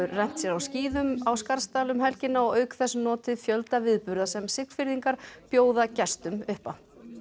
rennt sér á skíðum á Skarðsdal um helgina og auk þess notið fjölda viðburða sem Siglfirðingar bjóða gestum upp á